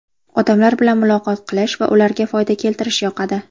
Odamlar bilan muloqot qilish va ularga foyda keltirish yoqadi.